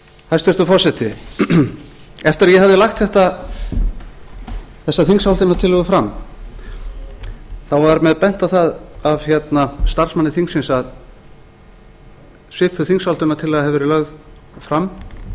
hæstvirtur forseti eftir að ég hafði lagt þessa þingsályktunartillögu fram þá var mér bent á það af starfsmanni þingsins að svipuð þingsályktunartillaga hefði verið lögð fram árið